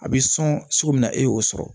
A bɛ sɔn cogo min na e y'o sɔrɔ